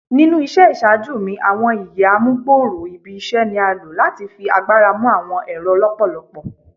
Ninu iṣẹ iṣaaju mi ​​awọn iÿë amugbooro ibi iṣẹ ni a lo lati fi agbara mu awọn ẹrọ lọpọlọpọ